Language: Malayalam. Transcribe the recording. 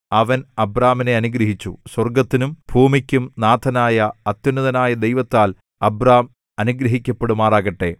അവൻ അബ്രാമിനെ അനുഗ്രഹിച്ചു സ്വർഗ്ഗത്തിനും ഭൂമിക്കും നാഥനായ അത്യുന്നതനായ ദൈവത്താൽ അബ്രാം അനുഗ്രഹിക്കപ്പെടുമാറാകട്ടെ